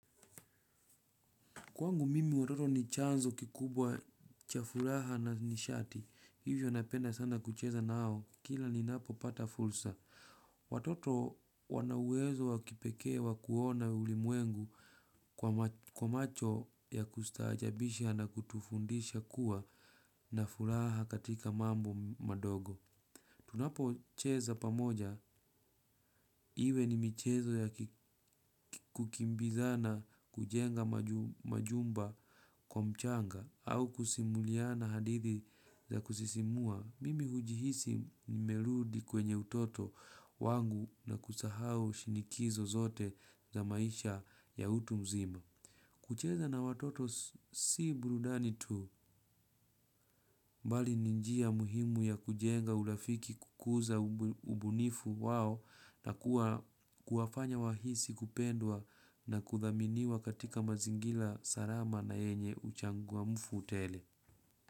Kwangu mimi watoto ni chanzo kikubwa cha furaha na nishati, hivyo napenda sana kucheza nao, kila ninapo pata fursa. Watoto wana uwezo wa kipekee wa kuona ulimwengu kwa macho ya kustaajabisha na kutufundisha kuwa na furaha katika mambo madogo. Tunapo cheza pamoja, iwe ni michezo ya kukimbizana kujenga majumba kwa mchanga, au kusimuliana hadithi za kusisimua, mimi hujihisi nimerudi kwenye utoto wangu na kusahau shinikizo zote za maisha ya utu mzima. Kucheza na watoto si burudani tu bali ni njia muhimu ya kujenga urafiki, kukuza ubunifu wao na kuwafanya wahisi kupendwa na kuthaminiwa katika mazingira salama na yenye uchangamfu tele.